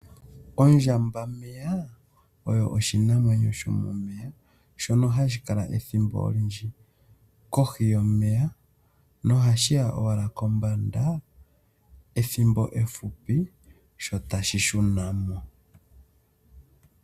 Ondjambameya oyo oshinamwanyo shimwe shono hashi kala ethimbo olindji kohi yomeya nohashi ya owala kombanda ethimbo efupi, sho tashi shuna mo.